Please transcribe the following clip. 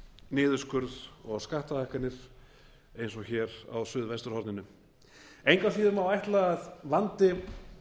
niðurskurð og skattahækkanir og hér á suðvesturhorninu engu að síður má ætla að vandi